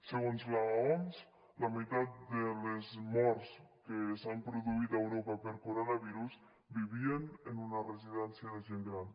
segons l’oms la meitat de les morts que s’han produït a europa per coronavirus vivien en una residència de gent gran